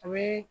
A bɛ